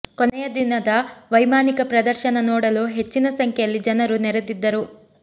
ಕೊನೆಯ ದಿನದ ವೈಮಾನಿಕ ಪ್ರದರ್ಶನ ನೋಡಲು ಹೆಚ್ಚಿನ ಸಂಖ್ಯೆಯಲ್ಲಿ ಜನರು ನೆರೆದಿದ್ದರು